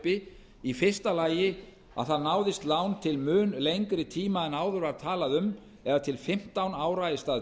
uppi í fyrsta lagi að það náðist lán til mun lengri tíma en áður var talað um eða til fimmtán ára í stað